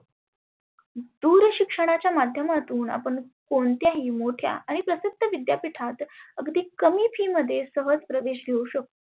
दुर शिक्षणाच्या माध्यमातुन आपण कोणत्याही प्रसिद्ध विद्यापिठात अगदी कमी fees मध्ये सहज प्रवेश घेऊ शकतो.